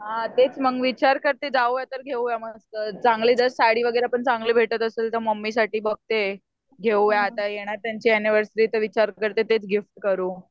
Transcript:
हां मग तेच विचार करते जाऊया तर घेऊया मग. चांगले जर साडी वगैरे पण भेटत असेल तर मम्मीसाठी बघते. घेऊया आता येणार त्यांची एनिवर्सरी तर विचार करते तेच गिफ्ट करू.